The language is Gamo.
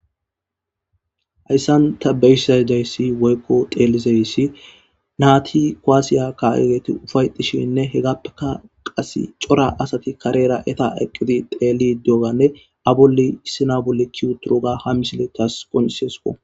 hayssan ta beyssadayssi woykko xeelizeyssi naati koassiya ka7egeti ufaytishinne hegappeka qas cora asati karera eta eqqidi teeli doganne abuli sinabolli kiuturuga ha misiletas qoniseso